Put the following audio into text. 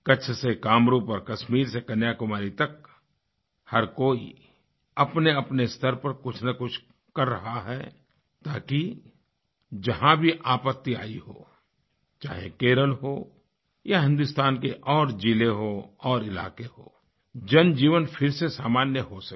कच्छ से कामरूप और कश्मीर से कन्याकुमारी तक हर कोई अपनेअपने स्तर पर कुछनकुछ कर रहा है ताकि जहाँ भी आपत्ति आई हो चाहे केरल हो या हिंदुस्तान के और ज़िले हों और इलाके हो जनजीवन फिर से सामान्य हो सके